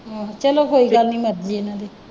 ਆਹੋ ਚੱਲੋ ਕੋਈ ਗੱਲ ਨਹੀਂ ਮਰਜੀ ਹੈ ਉਹਨਾਂ ਦੀ।